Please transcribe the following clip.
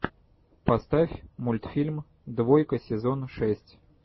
поставь мультфильм двойка сезон шесть